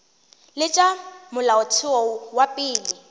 le tša molaotheo wa pele